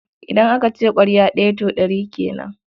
Idan aka ce ƙwarya ɗaya, to ɗari kenan.